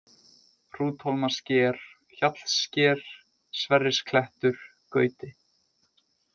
Hrúthólmasker, Hjallssker, Sverrisklettur, Gauti